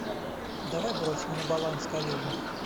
давай бросим на баланс коллеги